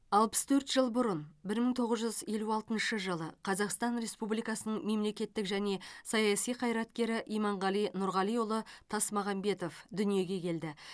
алпыс төрт жыл бұрын бір мың тоғыз жүз елу алтыншы жылы қазақстан республикасының мемлекеттік және саяси қайраткері иманғали нұрғалиұлы тасмағамбетов дүниеге келді